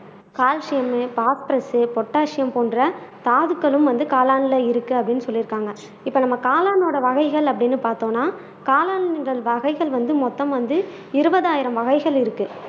calcium phosphorus potassium போன்ற தாதுக்களும் வந்து காளான்ல இருக்கு அப்படின்னு சொல்லி இருக்காங்க இப்ப நம்ம காளானோட வகைகள் அப்படின்னு பார்த்தோம்நா காளான்கள் வகைகள் வந்து மொத்தம் வந்து இருபது ஆயிரம் வகைகள் இருக்கு